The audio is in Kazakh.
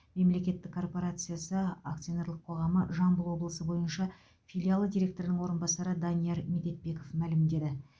мемлекеттік корпорациясы акционерлік қоғамы жамбыл облысы бойынша филиалы директорының орынбасары данияр медетбеков мәлімдеді